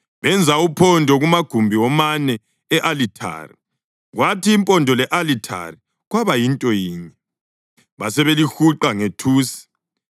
Benza uphondo kumagumbi womane e-alithare, kwathi impondo le-alithari kwaba yinto yinye, basebelihuqa ngethusi.